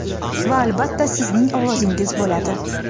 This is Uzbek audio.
va albatta sizning ovozingiz bo‘ladi!.